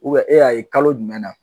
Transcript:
Ubiyɛn e y'a ye kalo jumɛn na